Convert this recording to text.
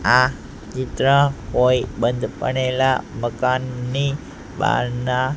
આ ચિત્ર કોઈ બંધ પડેલા મકાનની બહારના--